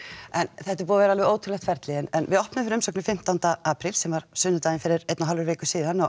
þetta er búið að vera alveg ótrúlegt ferli en við opnuðum fyrir umsóknir fimmtánda apríl sem var á sunnudaginn fyrir einni og hálfri viku síðan